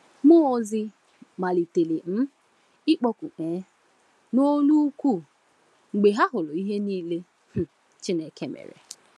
Mụọ ozi “malitere um ịkpọku um n’olu ukwu” mgbe ha hụrụ ihe niile um Chineke mere.